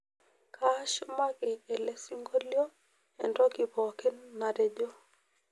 kashumaki elesingolio entoki pookin natejo